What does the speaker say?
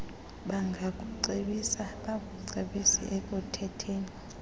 bangakucebisa bakuncedise ekukhetheni